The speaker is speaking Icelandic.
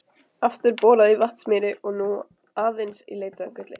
Aftur borað í Vatnsmýri og nú aðeins í leit að gulli.